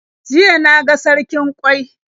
Jiya na ga sarkin ƙwai.